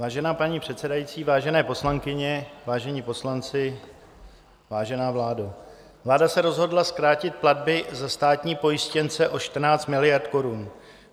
Vážená paní předsedající, vážené poslankyně, vážení poslanci, vážená vládo, vláda se rozhodla zkrátit platby za státní pojištěnce o 14 miliard korun.